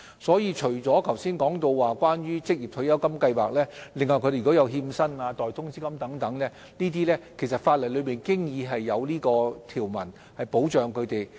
除剛才提及的職業退休計劃外，如果個案涉及拖欠薪金或代通知金等，法例亦已有條文保障他們。